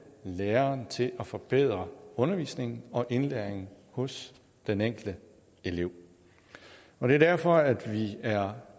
læreren til at forbedre undervisningen og indlæringen hos den enkelte elev og det er derfor at vi er